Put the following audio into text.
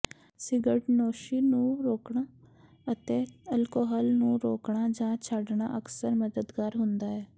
ਸਿਗਰਟਨੋਸ਼ੀ ਨੂੰ ਰੋਕਣਾ ਅਤੇ ਅਲਕੋਹਲ ਤੋਂ ਰੋਕਣਾ ਜਾਂ ਛੱਡਣਾ ਅਕਸਰ ਮਦਦਗਾਰ ਹੁੰਦਾ ਹੈ